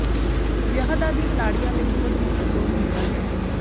ਵਿਆਹ ਦਾ ਦਿਨ ਲਾੜੀਆਂ ਲਈ ਬਹੁਤ ਮਹੱਤਵਪੂਰਣ ਹੁੰਦਾ ਹੈ